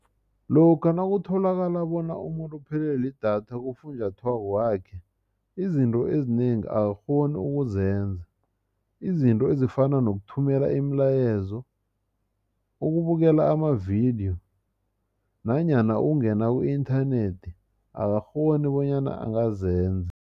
Lokha nakutholakala bona umuntu uphelelwe lidatha kufunjathwako wakhe izinto ezinengi akakghoni ukuzenza izinto ezifana nokuthumela imilayezo ukubukela amavidiyo nanyana ukungena ku-inthanethi akakghoni bonyana angazenza.